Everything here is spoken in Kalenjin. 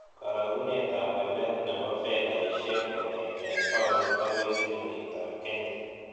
Karogunetap walet ne po fedaisiek kong'eten paunit agoi silingitap kenya